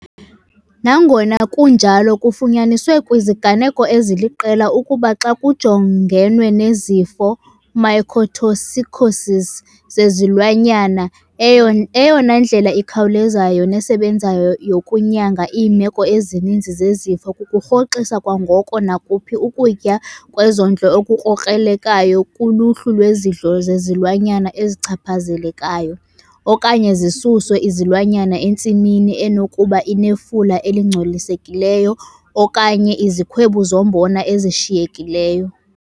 Nangona kunjalo, kufunyaniswe kwiziganeko eziliqela ukuba xa kujongenwe nezifo, mycotoxicoses, zezilwanyana, eyona ndlela ikhawulezayo nesebenzayo yokunyanga iimeko ezininzi zezifo kukurhoxisa kwangoko nakuphi ukutya kwezondlo okukrokrelekayo kuluhlu lwezidlo zezilwanyana ezichaphazelekayo, okanye zisuswe izilwanyana entsimini enokuba inefula elingcolisekileyo okanye izikhwebu zombona ezishiyekileyo.